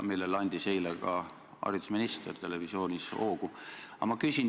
Eile andis ka haridusminister sellele televisioonis hoogu juurde.